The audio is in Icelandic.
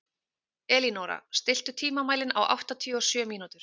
Elínóra, stilltu tímamælinn á áttatíu og sjö mínútur.